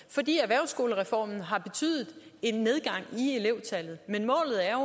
fordi erhvervsskolereformen har betydet en nedgang i elevtallet men målet er